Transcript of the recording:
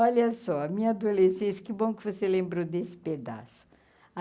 Olha só, a minha adolescência, que bom que você lembrou desse pedaço.